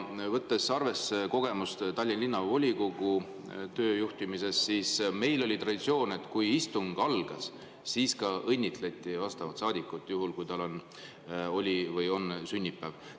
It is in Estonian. Võttes arvesse kogemust Tallinna Linnavolikogu töö juhtimises, saan öelda, et meil oli traditsioon, et kui istung algas, siis õnnitleti saadikut, juhul kui tal oli sünnipäev.